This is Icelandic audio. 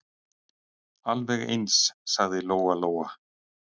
Alveg eins, sagði Lóa-Lóa.